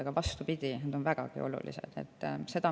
Aga vastupidi, nad on vägagi olulised.